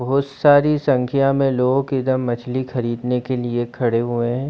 बहोत सारी संख्या में लोग इधर मछली खरदीने के लिए खड़े हुए है।